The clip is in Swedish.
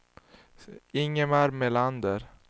Ingmar Melander